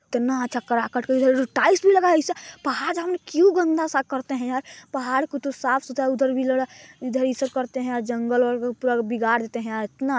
इतना अच्छा काटकर इधर उधर टाइल्स भी लगा आइसा पहाड़ उहाड़ को क्यूँ गंदा स करते हैं यार पहाड़ को तो साफ सुथरा उधर भी करते है यार जंगल वंगल को बिगाड़ देते हैं यार इतना--